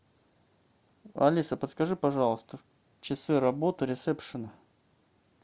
алиса подскажи пожалуйста часы работы ресепшена